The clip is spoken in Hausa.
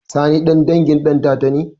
Sani ɗan dangin ɗantata ne?